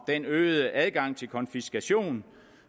den øgede adgang til konfiskation